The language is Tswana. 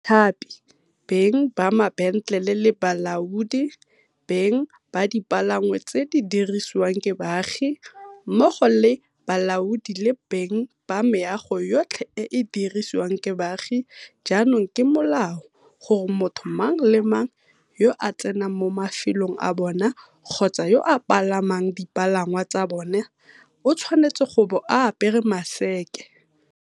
Bathapi, beng ba mabentlele le balaodi, beng ba dipalangwa tse di dirisiwang ke baagi, mmogo le balaodi le beng ba meago yotlhe e e dirisiwang ke baagi jaanong ke molao gore motho mang le mang yo a tsenang mo mafelong a bona kgotsa yo a palamang dipalangwa tsa bona o tshwanetse go bo a apere maseke.